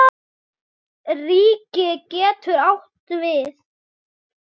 Ríki getur átt við